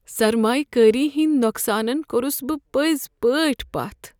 سرمایہ کٲری ہنٛدۍ نقصانن كوٚرُس بہٕ پٔزۍ پٲٹھۍ پتھ۔